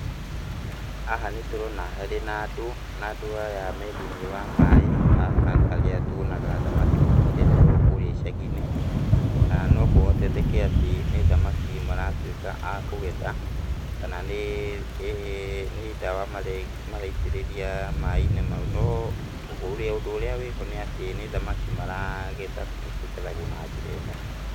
Haha nĩtũrona harĩ na andũ, na andũ aya me thĩiniĩ wa maĩ. Haha nĩ harĩa tuonaga thamaki ikĩrererwo kũrĩa icagi-inĩ, na no kũhotekeke atĩ nĩ thamaki maratuĩka akũgetha, kana nĩ nĩĩ ndawa maraitĩrĩria maĩ-inĩ mau. No, ũrĩa ũndũ ũrĩa wĩho nĩ atĩ nĩ thamaki maragetha tondũ ikĩgethagwo na njĩra ĩno.